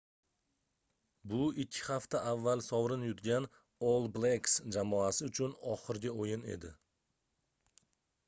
bu ikki hafta avval sovrin yutgan all blacks jamoasi uchun oxirgi oʻyin edi